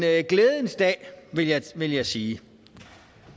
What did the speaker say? glædens dag vil jeg sige